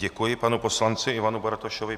Děkuji panu poslanci Ivanu Bartošovi.